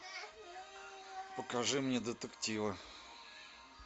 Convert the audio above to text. покажи мне детективы